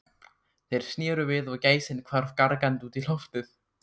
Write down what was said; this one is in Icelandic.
Þeir sneru við og gæsin hvarf gargandi út í loftið.